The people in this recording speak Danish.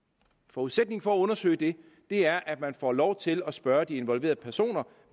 forudsætningen for at undersøge det er at man får lov til at spørge de involverede personer